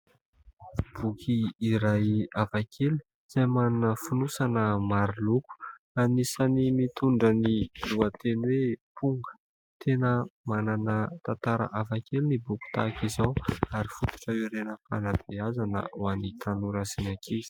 Boky iray hafakely izay manana fonosana maro loko, anisany mitondra ny lohateny hoe « ponga ». Tena manana tantara hafakely ny boky tahaka izao ary fototra hiorenan'ny fanabeazana ho an'ny tanora sy ny ankizy.